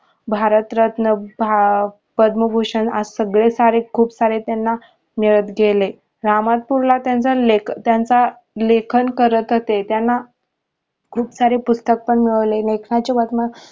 भारतरत्न, भा, पद्मभूषण असं सगळे सारे खूप सारे त्यांना मिळत गेले रामनाथपुरला त्यांचा लेखन त्यांच लेखन करत होते त्यांना खूप सारे पुस्तक पण मिळवले. लेखनाचे